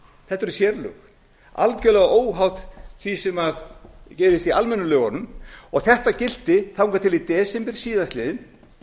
eru sérlög algjörlega óháð því sem gerist í almennu lögunum og þetta gilti þangað til í desember síðastliðnum